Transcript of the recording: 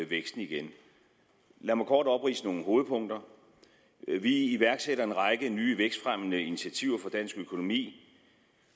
væksten igen lad mig kort opridse nogle hovedpunkter vi iværksætter en række nye vækstfremmende initiativer for dansk økonomi